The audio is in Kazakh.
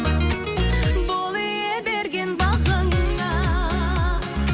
бол ие берген бағыңа